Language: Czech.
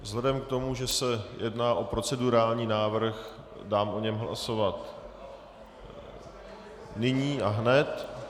Vzhledem k tomu, že se jedná o procedurální návrh, dám o něm hlasovat nyní a hned.